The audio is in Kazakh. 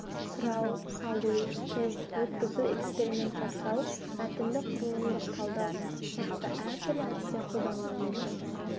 сұрау салу тест өткізу эксперимент жасау мәтінді құрылымдық талдау сияқты әртүрлі әдістер қолданылуы мүмкін